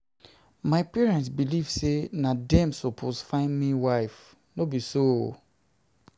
My parents believe sey na dem suppose find me wife, no be so.